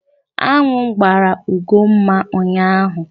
Aṅụ gbara Ugomma ụnyaahụ.